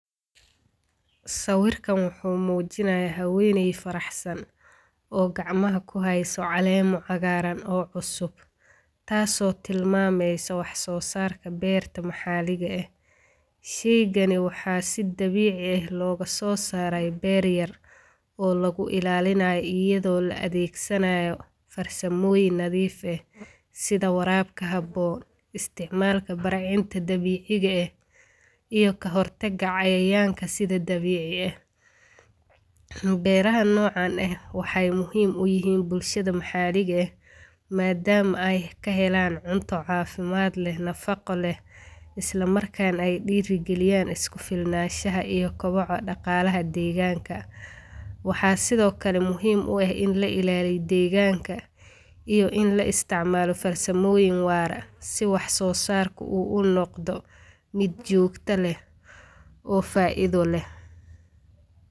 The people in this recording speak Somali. Sawirkan wuxu mujinaya hawenay faraxsaan oo gacamaha ku hayso caleemo o cagaran oo cusub taaso tilmamayso wax so sarka beerta ma xaliga eeh. Shayqani maxa si dabici eeh logasosaray beer yaar oo lagu ilalinayo ayadho la adegsanayo farsamoyiin nadhiif eeh sidha warabka habo, isticmalka barcinta dabiciga eeh iyo kahortaga cayayanka sidha dabici eeh. Beerahan nocan eeh waxay muhiim u ihiin bulshada maxa liga eeh madama ay kahelaan cunto cafimaad leeh nafaqo leeh islamarkan ay dirigaliyan iskufilnaanasha iyo koboco daqalaha deganka waxa sidhokale muhiim u eeh in lailaliyo deeganka iyo in laisticmalo farsamoyiin waar aah si waxsosarka u unoqdo mid jooqto leeh oo faidho leeh.